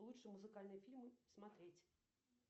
лучшие музыкальные фильмы смотреть